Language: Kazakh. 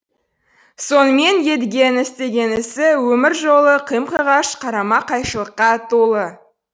сонымен едігенің істеген ісі өмір жолы қым қиғаш қарама қайшылыққа толы